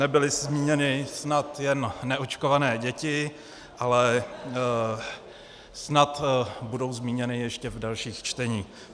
Nebyly zmíněny snad jen neočkované děti, ale snad budou zmíněny ještě v dalších čteních.